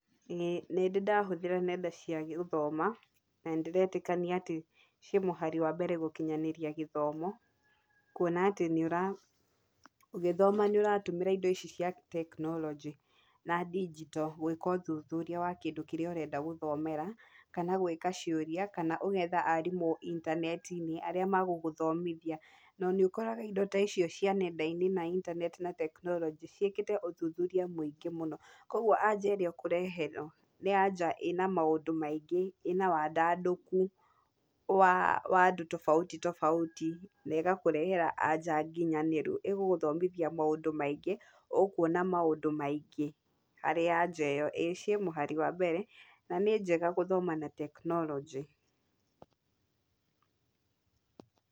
Ĩĩ nĩndĩ ndahũthĩra nenda cia gũthoma, nĩndĩretĩkania atĩ, ci mũhari wa mbere gũkinyanĩrĩa gĩthomo, kuona atĩ nĩ ũra ũgĩthoma nĩ ũratũmĩra indo ici cia teknorojĩ, na ndigito gwĩka ũthũthũria wa kĩndũ kĩrĩa ũrenda gũthomera kana gwĩka ciũria kana ũgetha arimũ intaneti-inĩ arĩa magũgũthomithia ,na nĩ ũkoraga indo icio cia nenda-inĩ na intaneti na teknorojĩ ciĩkĩte ũthũthũria mũingĩ mũno, kũgwo anja ĩrĩa ũkũreherwo nĩ anja ina maũndũ maingĩ , ĩna wandadũku wa andũ tofauti tofauti na ĩgakũrehera anja nginyanĩru ĩgũgũthomithia maũndũ maingĩ ũkuona maũndũ maingĩ harĩ anja ĩyo ciĩ mũhari wa mbere , na njega gũthoma na teknorojĩ.